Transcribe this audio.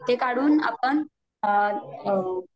ते काढून आपण